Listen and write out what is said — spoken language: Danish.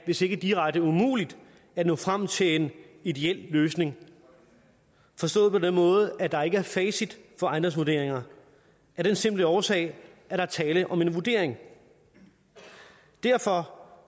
hvis ikke direkte umuligt at nå frem til en ideel løsning forstået på den måde at der ikke er et facit på ejendomsvurderinger af den simple årsag at der er tale om en vurdering derfor